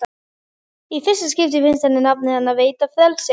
Í fyrsta skipti finnst henni nafnið hennar veita frelsi.